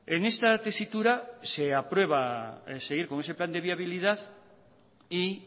en esta tesitura se aprueba seguir con ese plan de viabilidad y